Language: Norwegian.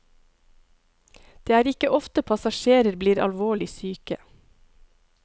Det er ikke ofte passasjerer bli alvorlig syke.